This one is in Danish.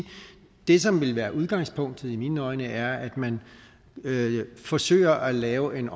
det som vil være udgangspunktet i mine øjne er at man forsøger at lave en